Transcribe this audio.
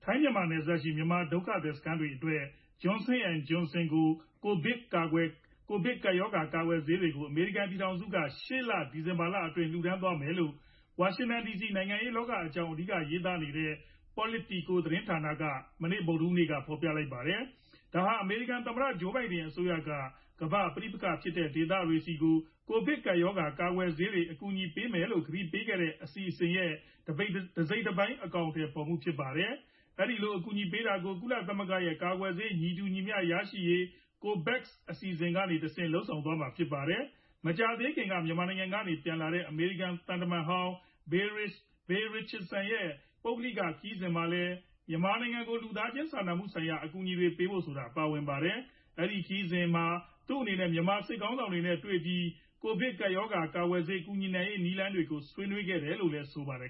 ိုင်းမြန်မာနယ်စပ်ရှိ မြန်မာဒုက္ခသည်စခန်းတွေအတွက် Johnson & Johnson ကိုဗစ်ကပ်ရောဂါ ကာကွယ်ဆေးတွေကို အမေရိကန် ပြည်ထောင်စုက ရှေ့လ ဒီဇင်ဘာလအတွင်း လှူဒါန်းသွားမယ်လို့ ဝါရှင်တန်ဒီစီ နိုင်ငံရေးလောက အကြောင်း အဓိက ရေးသားနေတဲ့ Politico သတင်းဌာနက ဗုဒ်ဓဟူးနေ့က ဖော်ပြလိုက်ပါတယ်။ ဒါဟာ အမေရိကန် သမ္မတ Joe Biden အစိုးရက ကမ္ဘာ ပဋိပက္ခဖြစ်တဲ့ဒေသတွေဆီကို ကိုဗစ်ကပ်ရောဂါ ကာကွယ်ဆေး အကူအညီပေးမယ်လို့ ကတိပေးခဲ့တဲ့ အစီအစဉ်ရဲ့ တစိတ်တပိုင်း အကောင်အထည်ဖော်မှုဖြစ်ပါတယ်။ အဲဒီလို အကူအညီပေးတာကို ကုလသမဂ္ဂရဲ့ ကာကွယ်ဆေး ညီတူညီမျှရရှိရေး COVAX အစီအစဉ်ကနေတဆင့် လုပ်ဆောင်သွားမှာဖြစ်ပါတယ်။ မကြာသေးခင်က မြန်မာနိုင်ငံကနေပြန်လာခဲ့တဲ့ အမေရိကန်သံတမန်ဟောင်း Bill Richardson ရဲ့ ပုဂ္ဂိုလိက ခရီးစဉ်မှာလည်း မြန်မာနိုင်ငံကို လူသားချင်းစာနာမှုဆိုင်ရာ အကူအညီတွေပေးဖို့ဆိုတာပါဝ ါတယ်။ အဲဒီခရီးစဉ်မှာ သူအနေနဲ့ မြန်မာစစ်ကောင်စီခေါင်းဆောင်နဲ့ တွေ့ဆုံပြီး ကိုဗစ်ကပ်ရောဂါ ကာကွယ်ဆေး ကူညီနိုင်ရေးနည်းလမ်းတွေ ဆွေးနွေးခဲ့တယ်လို့လည်းဆိုပါတယ်